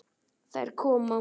Þær koma.